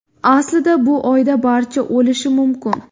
Aslida bu oyda barcha o‘lishi mumkin.